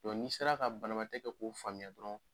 n'i sera ka banabatɛ kɛ ko faamuya dɔrɔn